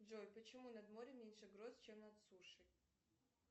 джой почему над морем меньше гроз чем над сушей